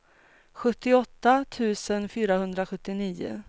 sjuttioåtta tusen fyrahundrasjuttionio